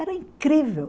Era incrível.